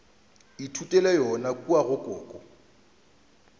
ithutela yona kua go koko